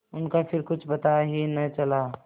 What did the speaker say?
उनका फिर कुछ पता ही न चला